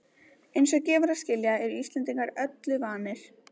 Eins og gefur að skilja eru Íslendingar öllu vanir.